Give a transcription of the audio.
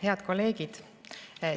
Head kolleegid!